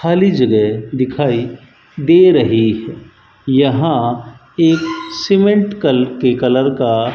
खाली जगह दिखाई दे रही है यहां एक सीमेंट कल के कलर का --